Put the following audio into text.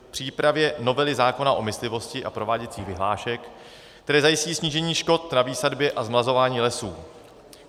přípravě novely zákona o myslivosti a prováděcích vyhlášek, které zajistí snížení škod na výsadbě a zmlazování lesů;